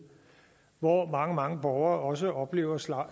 hvor mange mange borgere også oplever afslag